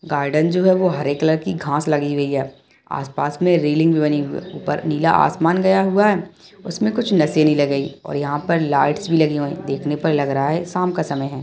Garden जो है वो हरी कलर की घास लगी हुई है आसपास में रेलिंग भी बनी हुई है उपर नीला आसमान गया हुआ है उसमें कुछ और यहाँ पर लाइट्स भी लगी हुई हैं देखने पर लग रहा है शाम का समय है।